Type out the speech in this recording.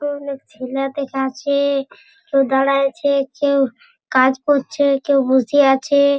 অনেক ছেলে দেখাচ্ছে কেউ দাড়ায়ে আছে। কেউ কাজ করছে কেউ বসে আছে।